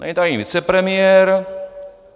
Není tady vicepremiér.